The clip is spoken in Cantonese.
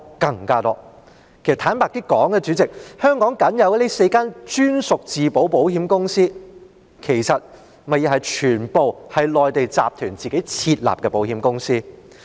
主席，坦白說，香港僅有的4間專屬自保保險公司，其實全部都是內地集團自行設立的保險公司。